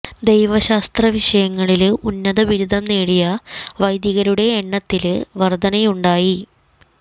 ദൈവശാസ്ത്ര വിഷയങ്ങളില് ഉന്നത ബിരുദം നേടിയ വൈദികരുടെ എണ്ണത്തില് വര്ദ്ധനയുണ്ടായി